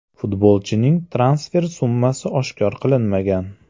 Futbolchining transfer summasi oshkor qilinmagan.